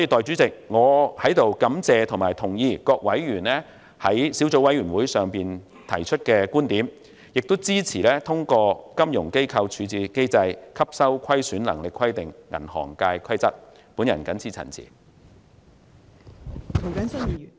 主席，我希望局長懸崖勒馬，即使有關規則獲通過，可以對12間銀行施加一些所謂處置機制、吸收虧損能力的規定，也希望政府不要這樣做。